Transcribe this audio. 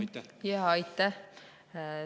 Aitäh!